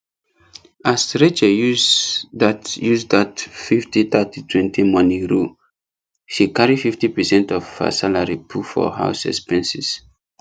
as rachel use that use that fifty thirty twenty money rule she carry fifty percent of her salary put for house expenses